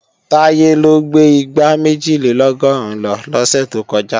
Táyé ló gbé igbá méjìlélọ́gọ́rùn lọ lọ́sẹ̀ tó kọjá